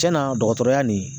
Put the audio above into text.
Tiɲɛna dɔgɔtɔrɔya nin